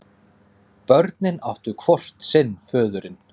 Börnin áttu hvort sinn föðurinn.